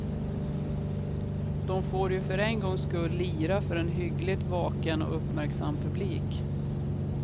De får ju för en gångs skull lira för en hyggligt vaken och uppmärksam publik.